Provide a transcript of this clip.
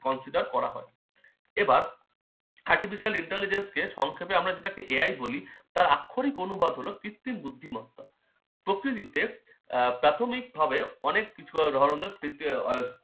consider করা হয়। এবার artificial intelligence কে সংক্ষেপে আমরা যেটাকে AI বলি তার আক্ষরিক অনুবাদ হলো কৃত্রিম বুদ্ধিমত্তা। প্রকৃতিতে আহ প্রাথমিকভাবে অনেক কিছু ধরনের আহ